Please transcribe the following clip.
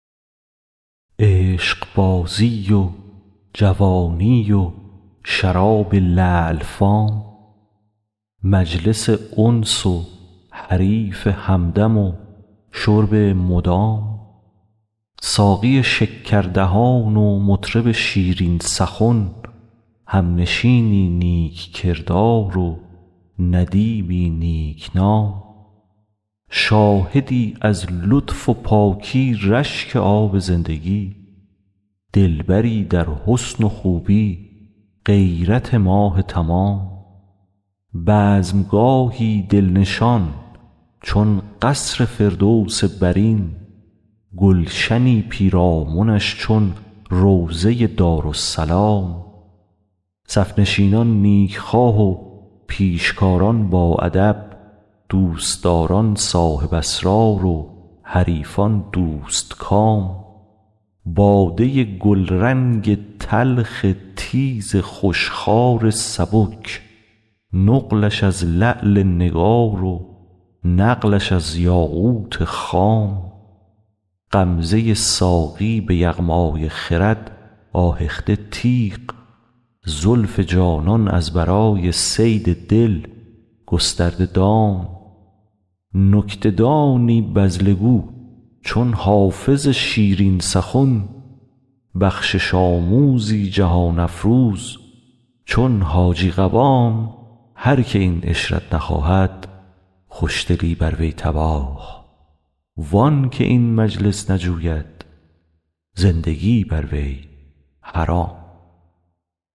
عشقبازی و جوانی و شراب لعل فام مجلس انس و حریف همدم و شرب مدام ساقی شکردهان و مطرب شیرین سخن همنشینی نیک کردار و ندیمی نیک نام شاهدی از لطف و پاکی رشک آب زندگی دلبری در حسن و خوبی غیرت ماه تمام بزم گاهی دل نشان چون قصر فردوس برین گلشنی پیرامنش چون روضه دارالسلام صف نشینان نیک خواه و پیشکاران باادب دوست داران صاحب اسرار و حریفان دوست کام باده گلرنگ تلخ تیز خوش خوار سبک نقلش از لعل نگار و نقلش از یاقوت خام غمزه ساقی به یغمای خرد آهخته تیغ زلف جانان از برای صید دل گسترده دام نکته دانی بذله گو چون حافظ شیرین سخن بخشش آموزی جهان افروز چون حاجی قوام هر که این عشرت نخواهد خوش دلی بر وی تباه وان که این مجلس نجوید زندگی بر وی حرام